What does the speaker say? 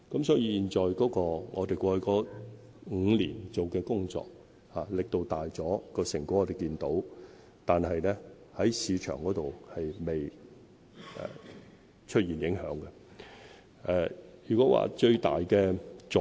所以，我們過去5年做的工作力度大了，成果我們亦看到，但在市場上還未出現影響。